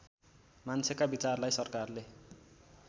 मान्छेका विचारलाई सरकारले